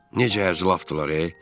Necə əcəlafdırlar, e?